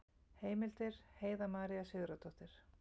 Heimildir Heiða María Sigurðardóttir.